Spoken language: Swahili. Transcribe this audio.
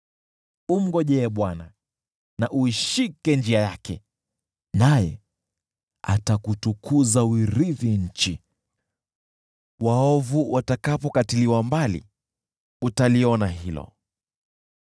Mngojee Bwana , na uishike njia yake. Naye atakutukuza uirithi nchi, waovu watakapokatiliwa mbali, utaliona hilo.